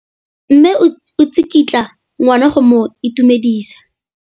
Mme o tsikitla ngwana go mo itumedisa.